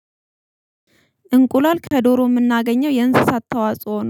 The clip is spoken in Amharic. እንቁላል ከዶሮ የምናገኘው የእንስሳት ተዋጽኦ